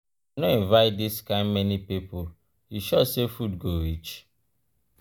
i no invite dis kind many people you sure say food go reach.